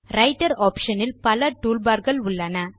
writer option இல் பல tool barகள் உள்ளன